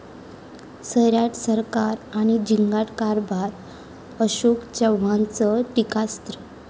सैराट सरकार आणि झिंगाट कारभार, अशोक चव्हाणांचं टीकास्त्र